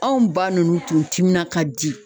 Anw ba ninnu tun timina ka di.